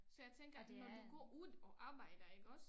Så jeg tænker at når vi går ud og arbejder iggås